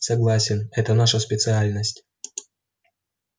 согласен это наша специальность